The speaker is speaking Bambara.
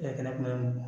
E kɛnɛ kuma mun